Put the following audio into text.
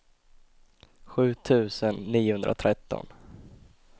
sju tusen niohundratretton